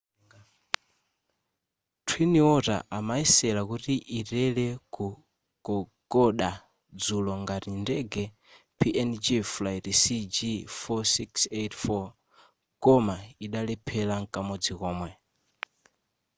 twin otter imayesera kuti itere ku kokoda dzulo ngati ndege png flight cg4684 koma idalephera mkamodzi komwe